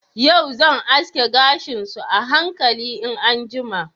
Yau zan aske gashin su a hankali in an jima.